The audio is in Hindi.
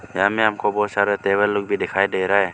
यहां में हमको बहोत सारा टेबल लोग भी दिखाई दे रहा है।